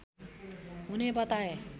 हुने बताए